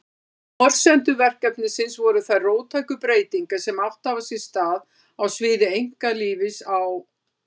Forsendur verkefnisins voru þær róttæku breytingar sem átt hafa sér stað á sviði einkalífs á